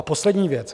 A poslední věc.